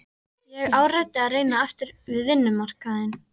Ég áræddi að reyna aftur við vinnumarkaðinn.